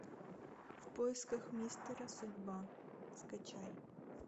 в поисках мистера судьба скачай